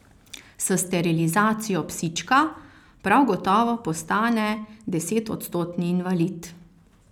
S sterilizacijo psička prav gotovo postane desetodstotni invalid.